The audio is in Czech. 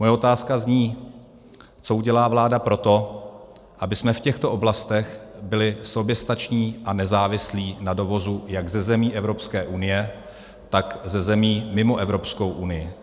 Moje otázka zní: Co udělá vláda pro to, abychom v těchto oblastech byli soběstační a nezávislí na dovozu jak ze zemí Evropské unie, tak ze zemí mimo Evropskou unii?